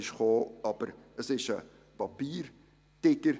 Aber es ist ein Papiertiger.